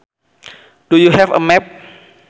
Do you have a map